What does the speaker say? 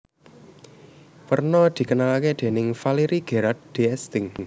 Werna dikenalake déning Valéry Gerard d Esting